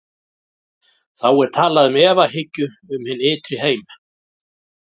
Þá er talað um efahyggju um hinn ytri heim.